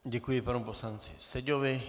Děkuji panu poslanci Seďovi.